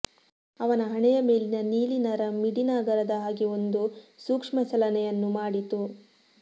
ಅವನ ಹಣೆಯ ಮೇಲಿನ ನೀಲಿ ನರ ಮಿಡಿನಾಗರದ ಹಾಗೆ ಒಂದು ಸೂಕ್ಷ್ಮ ಚಲನೆಯನ್ನು ಮಾಡಿತು